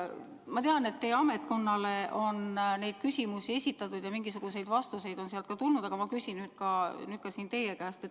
Ma tean, et teie ametkonnale on neid küsimusi esitatud ja mingisuguseid vastuseid on sealt ka tulnud, aga ma küsin nüüd teiegi käest.